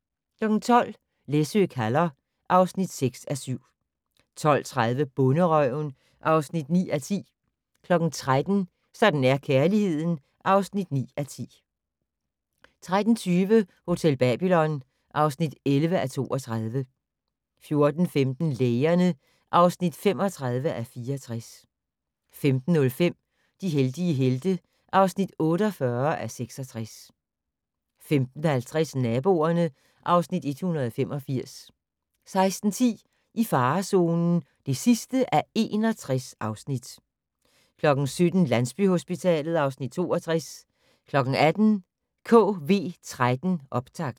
12:00: Læsø kalder (6:7) 12:30: Bonderøven (9:10) 13:00: Sådan er kærligheden (9:10) 13:20: Hotel Babylon (11:32) 14:15: Lægerne (35:64) 15:05: De heldige helte (48:66) 15:50: Naboerne (Afs. 185) 16:10: I farezonen (61:61) 17:00: Landsbyhospitalet (Afs. 62) 18:00: KV13 Optakt